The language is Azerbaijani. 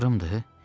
Axırımdır?